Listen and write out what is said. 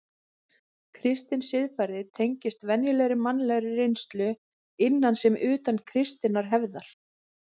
Kristin siðfræði tengist venjulegri mannlegri reynslu, innan sem utan kristinnar hefðar.